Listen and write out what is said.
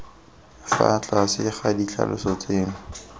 fa tlase ga ditlhaloso tseno